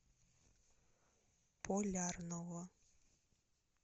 полярного